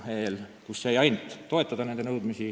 Nende nõudmisi saab ainult toetada.